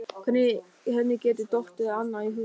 Hvernig henni geti dottið annað í hug?